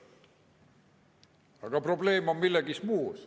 Aga probleem on tegelikult milleski muus.